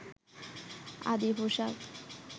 আদি পোশাক